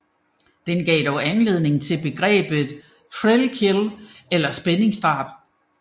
Den gav anledning til begrebet thrill kill eller spændingsdrab